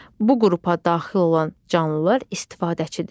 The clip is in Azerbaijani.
Bu qrupa daxil olan canlılar istifadəçidir.